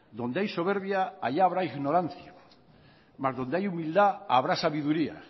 donde hay soberbia allá habrá ignorancia mas donde hay humildad habrá sabiduría